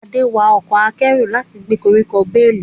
Ade wa ọkọ̀ akẹ́rù láti gbé koríko bales.